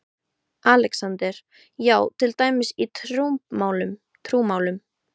ALEXANDER: Já, til dæmis í trúmálum?